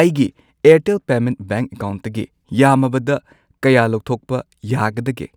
ꯑꯩꯒꯤ Airtel payment bank ꯑꯦꯀꯥꯎꯟꯠꯇꯒꯤ ꯌꯥꯝꯃꯕꯗ ꯀꯌꯥ ꯂꯧꯊꯣꯛꯄ ꯌꯥꯒꯗꯒꯦ?